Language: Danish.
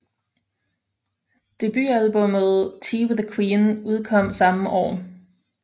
Debutalbummet Tea with the Queen udkom samme år